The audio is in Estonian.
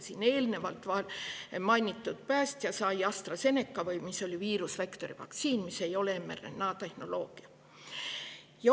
Siin eelnevalt mainitud päästja sai AstraZeneca vaktsiini, mis on viirusvektori vaktsiin ega ole mRNA-tehnoloogial.